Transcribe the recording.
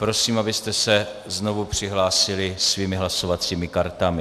Prosím, abyste se znovu přihlásili svými hlasovacími kartami.